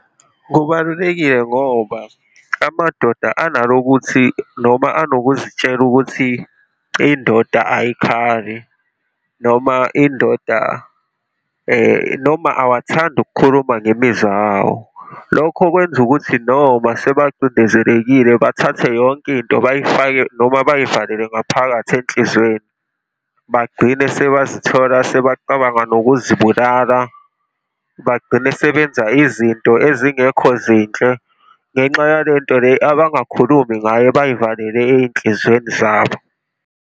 Kubalulekile ngoba amadoda analokuthi noma anokuzitshela ukuthi, indoda ayikhali, noma indoda, noma awathandi ukukhuluma ngemizwa yawo. Lokho kwenza ukuthi noma sebacindezelekile, bathathe yonke into bayifake noma bayivalele ngaphakathi enhlizweni. Bagcine sebazithola sebacabanga ngokuzibulala, bagcine sebenza izinto ezingekho zinhle ngenxa yalento le abangakhulumi ngayo abayivalele ey'nhlizweni zabo.